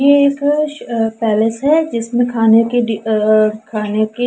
ये एक पैलेस है जिसमें खाने के डी अ खाने की--